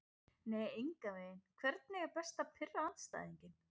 nei engan veginn Hvernig er best að pirra andstæðinginn?